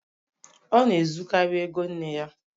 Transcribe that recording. Ọ na-ezukarị ego nne ya.